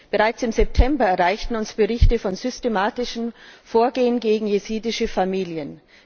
Bereits im September erreichten uns Berichte über systematisches Vorgehen gegen jesidische Familien.